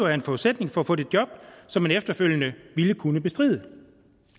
er en forudsætning for at få det job som man efterfølgende ville kunne bestride